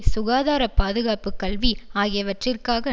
சுகாதார பாதுகாப்பு கல்வி ஆகியவற்றிற்காக